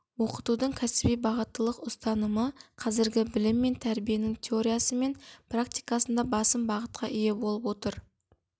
оқытудың кәсіби бағыттылық ұстанымы қазіргі білім мен тәрбиенің теориясы мен практикасында басым бағытқа ие болып отыр